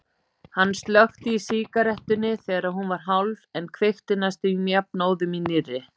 Hann slökkti í sígarettunni þegar hún var hálf en kveikti næstum jafnóðum í nýrri.